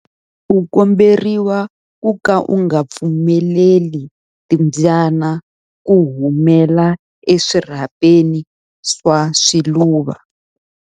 U komberiwa ku ka u nga pfumeleli timbyana ku humela eswirhapeni swa swiluva.